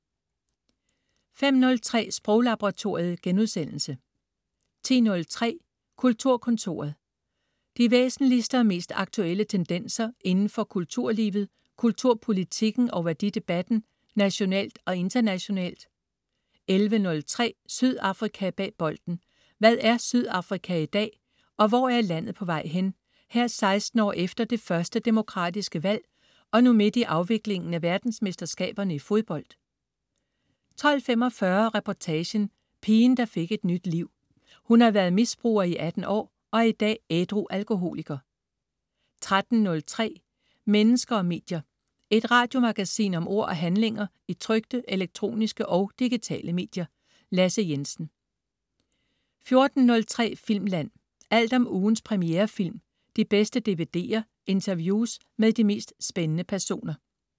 05.03 Sproglaboratoriet* 10.03 Kulturkontoret. De væsentligste og mest aktuelle tendenser inden for kulturlivet, kulturpolitikken og værdidebatten nationalt og internationalt 11.03 Sydafrika bag bolden. Hvad er Sydafrika i dag og hvor er landet på vej hen, her 16 år efter det første demokratiske valg og nu midt i afviklingen af verdensmesterskaberne i fodbold? 12.45 Reportagen: Pigen der fik et nyt liv. Hun har været misbruger i 18 år, og er i dag ædru alkoholiker 13.03 Mennesker og medier. Et radiomagasin om ord og handlinger i trykte, elektroniske og digitale medier. Lasse Jensen 14.03 Filmland. Alt om ugens premierefilm, de bedste DVD'er, interviews med de mest spændende personer